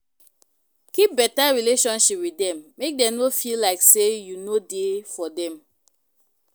Keep better relationship with dem make dem no feel like sey you no dey for dem